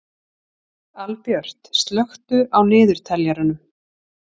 Albjört, slökktu á niðurteljaranum.